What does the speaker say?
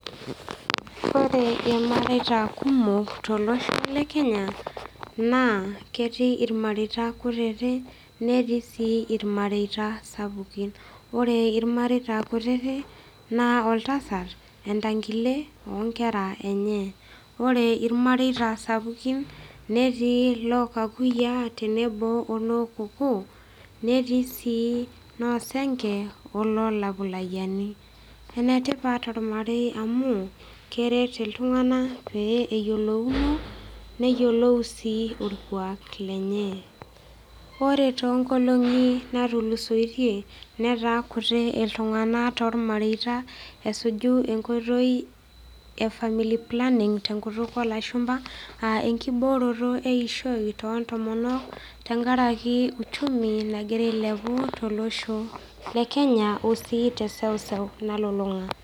Ore irmareita kumok tolosho lekenya naa ketii irmareita kutiti netii sii irmareita sapukin . Ore irmareita kutiti naa oltasat, entangile, onkera enye , ore irmareita sapukin netii loo kakuyiaa tenebo onoo kokoo netii sii noosenke onolakuyiani . Enetipat ormarei amu keret iltunganak pee eyiolouno , neyiolou sii orkwak lenye. Ore toonkolongi natulusoitie netaa kuti iltunganak tormaireita esuju enkoitoi efamilly planning tenkutuk olashumba, aa enkibooroto eishoi tontomonok tenkaraki uchumi nagira ailepu tolosho lekenya osii teseuseu nalulunga.